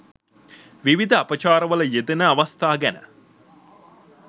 විවිධ අපචාරවල යෙදෙන අවස්ථා ගැන